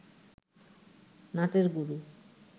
নাটের গুরু